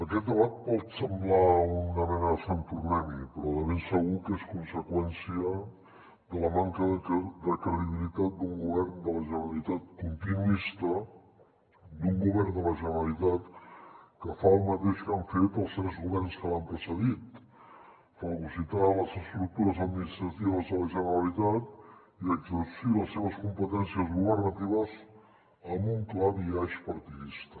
aquest debat pot semblar una mena de sant tornem hi però de ben segur que és conseqüència de la manca de credibilitat d’un govern de la generalitat continuista d’un govern de la generalitat que fa el mateix que han fet els tres governs que l’han precedit fagocitar les estructures administratives de la generalitat i exercir les seves competències governatives amb un clar biaix partidista